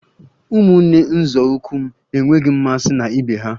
Ụmụnne nzọụkwụ m enweghị mmasị na ibe ha